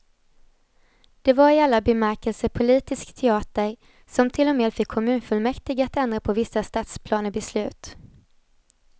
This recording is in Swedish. Det var i alla bemärkelser politisk teater, som till och med fick kommunfullmäktige att ändra på vissa stadsplanebeslut.